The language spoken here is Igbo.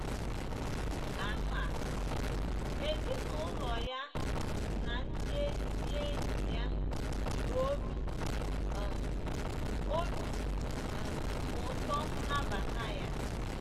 Kama, ezinaụlọ ya na ndị ezi enyi ya ji obi um obi um ụtọ nabata ya.